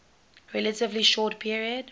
relatively short period